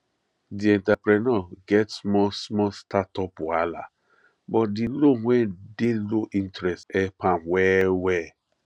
di entrepreneur get small small startup wahala but di loan wey dey low interest help am well well